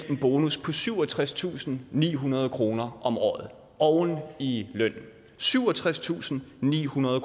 en bonus på syvogtredstusinde og nihundrede kroner om året oven i lønnen syvogtredstusinde og nihundrede